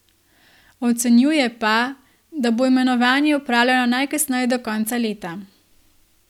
Ocenjuje pa, da bo imenovanje opravljeno najkasneje do konca leta.